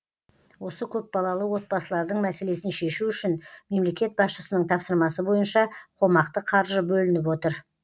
осы көпбалалы отбасылардың мәселесін шешу үшін мемлекет басшысының тапсырмасы бойынша қомақты қаржы бөлініп отыр